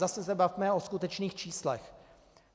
Zase se bavme o skutečných číslech.